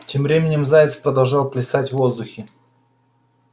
тем временем заяц продолжал плясать в воздухе